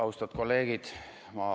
Austatud kolleegid!